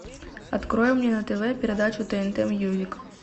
открой мне на тв передачу тнт мьюзик